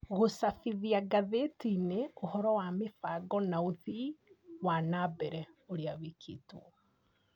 Gũcabithia ngathĩti-inĩ ũhoro wa mĩbango na ũthii wa na mbere ũrĩa wĩkĩtwo.